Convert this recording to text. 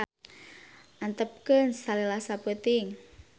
Antepkeun salila sapeuting.